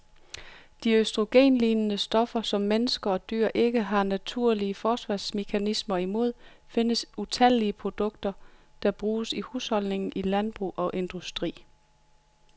De østrogenlignende stoffer, som mennesker og dyr ikke har naturlige forsvarsmekanismer imod, findes i utallige produkter, der bruges i husholdninger, i landbrug og industri.